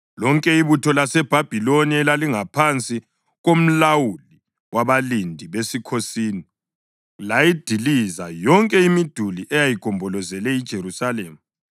Lonke ibutho laseBhabhiloni elalingaphansi komlawuli wabalindi besikhosini layidiliza yonke imiduli eyayigombolozele iJerusalema.